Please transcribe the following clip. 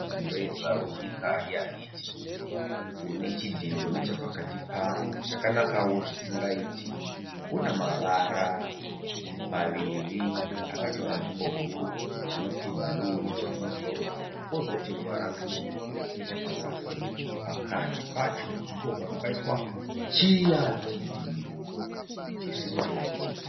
Mureza wenyika yeHaiti unechidhindo nechapakati pawo chakanakawo zvisingaiti. Unamavara maviri akatora nzvimbo huru anoti bhuruu nechokumusoro, kozoti ruvara rutsvuku nechapazasi. Pakati pacho ndipo pabva paiswa chiya chidhindo chisingaiti.